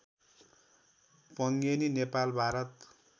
Pangeni Nepal Bharat